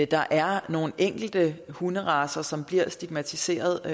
der er nogle enkelte hunderacer som bliver stigmatiseret